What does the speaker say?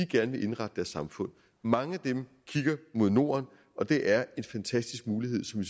gerne vil indrette deres samfund mange af dem kigger mod norden og det er en fantastisk mulighed som